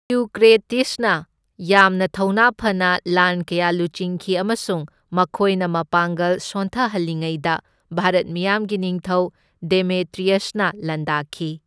ꯏꯎꯀ꯭ꯔꯦꯇꯤꯠꯁꯅ ꯌꯥꯝꯅ ꯊꯧꯅꯥ ꯐꯅ ꯂꯥꯟ ꯀꯌꯥ ꯂꯨꯆꯤꯡꯈꯤ ꯑꯃꯁꯨꯡ ꯃꯈꯣꯏꯅ ꯃꯄꯥꯡꯒꯜ ꯁꯣꯟꯊꯍꯜꯂꯤꯉꯩꯗ ꯚꯥꯔꯠ ꯃꯤꯌꯥꯝꯒꯤ ꯅꯤꯡꯊꯧ ꯗꯦꯃꯦꯇ꯭ꯔꯤꯌꯁꯅ ꯂꯥꯟꯗꯥꯈꯤ꯫